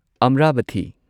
ꯑꯃꯔꯥꯚꯊꯤ